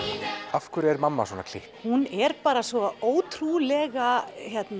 af hverju er mamma svona klikk hún er bara svo ótrúlega